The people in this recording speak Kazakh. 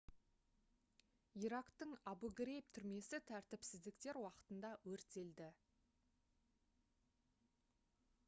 ирактың абу-грейб түрмесі тәртіпсіздіктер уақытында өртелді